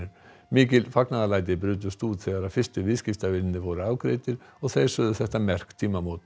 mikil fagnaðarlæti brutust út þegar fyrstu viðskiptavinirnir voru afgreiddir og þeir sögðu þetta merk tímamót